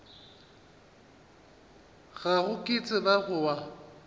gago ke tseba go wa